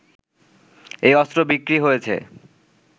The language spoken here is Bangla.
এই অস্ত্র বিক্রি হয়েছে